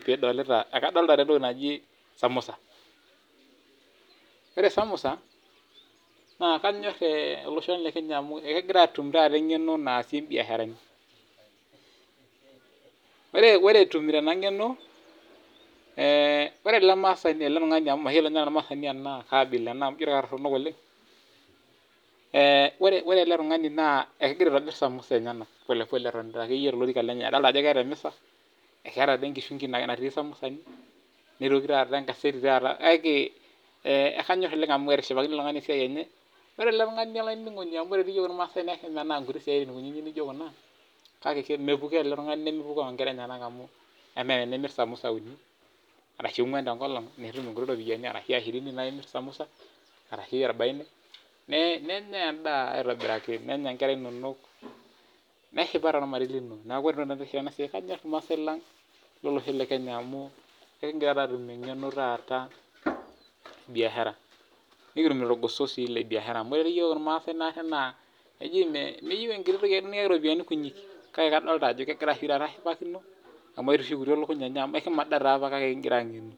kadolita entoki najii samosa ore samosa naa kanyor ele Osho lee Kenya amu egira atum taaa eng'eno naasie biasharani ore etumito ena ng'eno ore El tung'ani naa ekegirai aitobir samosa enyena polepole etonita tolorika edolita Ajo ketaa olorika ketaa enkishunki natii samosani nitoki ataa enkazeti kake kanyor oleng amu etishipakine oleng esiai enye ore ele tung'ani amu ore ormasani naa kemenaa nkuti siatin naijio Kuna kake mepukoo ele tung'ani nemepukoo enkera enyena amu emaa tenimira samusa uni arashu anguan mitum enkiti ropiani ashu shirini najii emir samosa arashu orbaini naa endaa aitobiraki nenya enkera enonok neshipa doi ormarei lino neeku ore enasiai kanyor irmaasai lang lolosho lee Kenya amu ekigira atum eng'eno taata ee biashara nikitumito irgoso lee biashara amu ore naati iyiok irmaasai naa eji meyieu eropiani kutik kake adolita Ajo egira ashipakino amu etushukutuo elukuny enye amu ekimada doi apa kake kigira ang'enu